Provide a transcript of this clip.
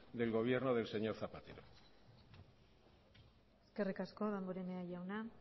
del gobierno del señor zapatero eskerrik asko damborenea jauna